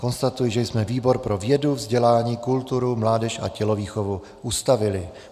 Konstatuji, že jsme výbor pro vědu, vzdělání, kulturu, mládež a tělovýchovu ustavili.